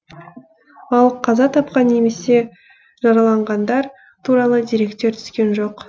ал қаза тапқан немесе жараланғандар туралы деректер түскен жоқ